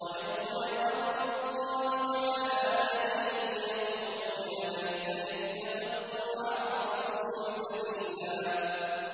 وَيَوْمَ يَعَضُّ الظَّالِمُ عَلَىٰ يَدَيْهِ يَقُولُ يَا لَيْتَنِي اتَّخَذْتُ مَعَ الرَّسُولِ سَبِيلًا